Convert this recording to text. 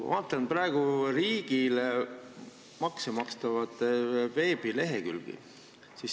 Ma vaatan praegu riigile makse maksvate kauplejate veebilehekülgi.